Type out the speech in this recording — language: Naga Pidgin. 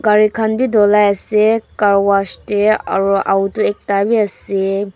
gari khan bi dholai ase car wash te aro auto ekta bi ase.